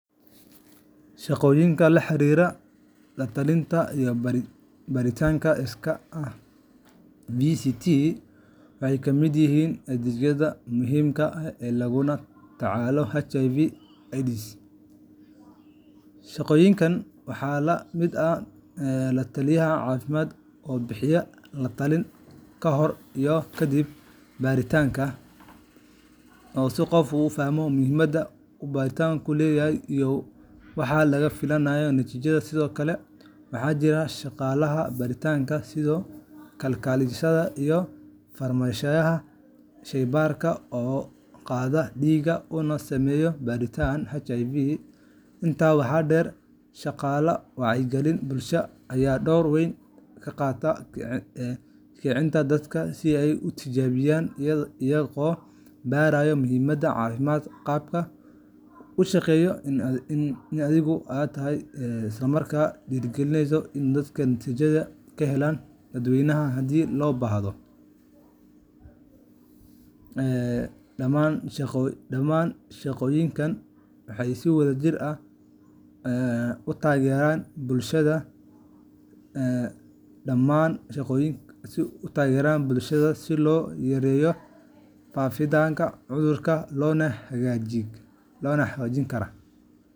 Shaqooyinka la xiriira la-talinta iyo baaritaanka iskaa ah VCT waxay ka mid yihiin adeegyada muhiimka ah ee lagula tacaalo HIV/AIDS. Shaqooyinkan waxaa ka mid ah la-taliye caafimaad oo bixiya la-talin ka hor iyo ka dib baaritaanka si qofku u fahmo muhiimadda uu baaritaanku leeyahay, iyo waxa laga filayo natiijada. Sidoo kale, waxaa jira shaqaalaha baaritaanka sida kalkaaliyeyaasha iyo farsamayaqaanada sheybaarka oo qaada dhiigga una sameeya baaritaanka HIVga. Intaa waxaa dheer, shaqaalaha wacyigelinta bulshada ayaa door weyn ka qaata kicinta dadka si ay u tijaabiyaan, iyagoo baraya muhiimadda caafimaad qabka, u sheegaya in adeeggu yahay sir ah, isla markaana dhiirrigeliya in dadka natiijada ka helaan daaweyn haddii loo baahdo. Dhammaan shaqooyinkan waxay si wadajir ah u taageeraan bulshada si loo yareeyo faafidda cudurka loona xoojiyo ka hortagga karaa.